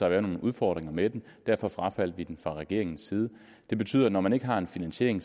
at være nogle udfordringer ved den derfor frafaldt vi den fra regeringens side og når man ikke har en finansiering